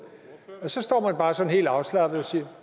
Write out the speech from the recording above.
så står man bare sådan helt afslappet siger